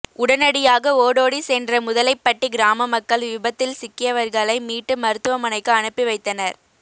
உடனடியாக ஓடோடி சென்ற முதலைப்பட்டி கிராமமக்கள் விபத்தில் சிக்கியவர்களை மீட்டு மருத்துவமனைக்கு அனுப்பி வைத்தனர்